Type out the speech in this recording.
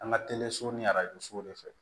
An ka teleso ni arajo sow de fɛ